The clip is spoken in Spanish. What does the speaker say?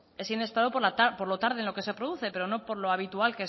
es inesperado por lo tarde en que se produce pero no por lo habitual